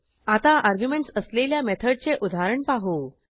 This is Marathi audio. आता अर्ग्युमेंटस असलेल्या मेथडचे उदाहरण पाहू